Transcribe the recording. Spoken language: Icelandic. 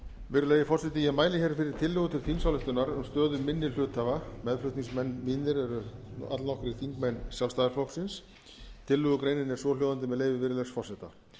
virðulegi forseti ég mæli hér fyrir tillögu til þingsályktunar um stöðu minni hluthafa meðflutningsmenn mínir eru allnokkrir þingmenn sjálfstæðisflokksins tillögugreinin er svohljóðandi með leyfi virðulegs forseta